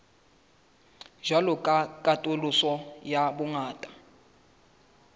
jwalo ka katoloso ya bongata